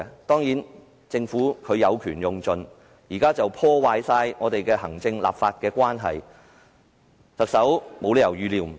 當然，政府有權用盡，完全破壞行政立法關係，特首不可能預料不到。